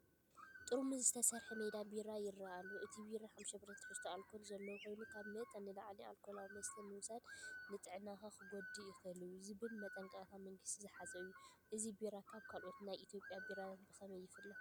ጥርሙዝ ዝተሰርሐ ሜታ ቢራ ይረአ ኣሎ። እቲ ቢራ 5% ትሕዝቶ ኣልኮል ዘለዎ ኮይኑ፡ "ካብ መጠን ንላዕሊ ኣልኮላዊ መስተ ምውሳድ ንጥዕናኻ ክጎድእ ይኽእል'ዩ" ዝብል መጠንቀቕታ መንግስቲ ዝሓዘ እዩ። እዚ ቢራ ካብ ካልኦት ናይ ኢትዮጵያ ቢራታት ብኸመይ ይፍለ?